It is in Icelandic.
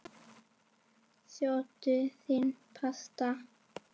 Sjóddu nýtt pasta.